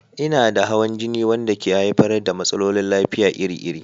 Ina da hawan jini wanda ke haifar da matsalolin lafiya iri-iri.